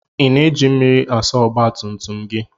I na-eji mmiri asa ọgba tum tum gị?